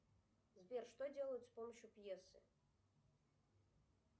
сбер что делают с помощью пьесы